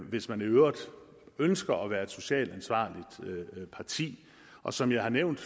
hvis man i øvrigt ønsker at være et socialt ansvarligt parti og som jeg har nævnt